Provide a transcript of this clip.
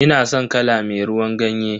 Ina san kala me ruwan ganye.